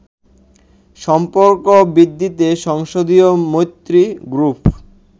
সম্পর্ক বৃদ্ধিতে সংসদীয় মৈত্রী গ্রুপ